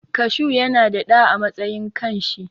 Kashu yana da ɗa a matsayin kan shi.